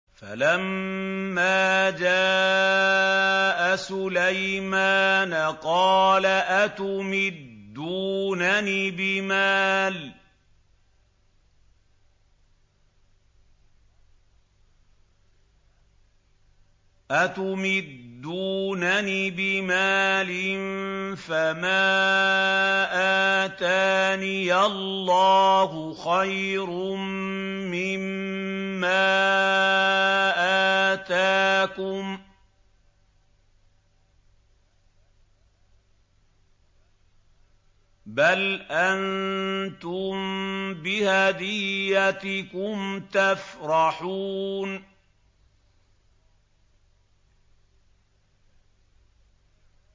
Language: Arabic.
فَلَمَّا جَاءَ سُلَيْمَانَ قَالَ أَتُمِدُّونَنِ بِمَالٍ فَمَا آتَانِيَ اللَّهُ خَيْرٌ مِّمَّا آتَاكُم بَلْ أَنتُم بِهَدِيَّتِكُمْ تَفْرَحُونَ